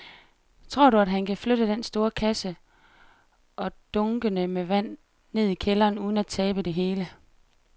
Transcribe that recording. Tror du, at han kan flytte den store kasse og dunkene med vand ned i kælderen uden at tabe det hele?